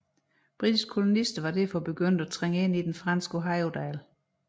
Britiske kolonister var derfor begyndt at trænge ind i den franske Ohiodal